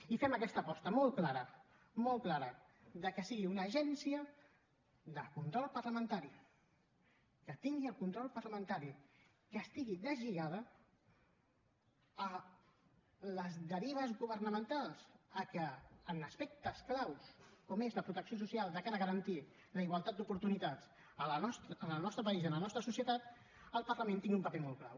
i fem aquesta aposta molt clara molt clara que sigui una agència de control parlamentari que tingui el control parlamentari que estigui deslligada de les derives governamentals que en aspectes clau com és la protecció social de cara a garantir la igualtat d’oportunitats en el nostre país i en la nostra societat el parlament tingui un paper molt clau